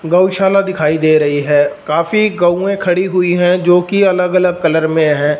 गौशाला दिखाई दे रही हैं काफी गऊयें खड़ी हुई है जोकि अलग अलग कलर में हैं।